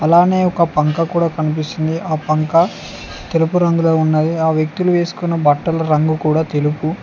అలనే ఒక పంక కూడా కనిపిస్తుంది ఆ పంక తెలుపు రంగులో ఉన్నాయి ఆ వ్యక్తులు వేసుకొని బట్టలు రంగు కూడా తెలుపు.